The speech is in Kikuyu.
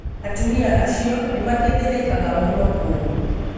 Atumia acio nĩ makĩthĩnikaga mũno kũu.